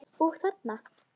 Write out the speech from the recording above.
Og þarna?